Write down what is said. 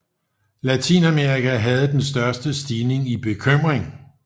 Latinamerika havde den største stigning i bekymring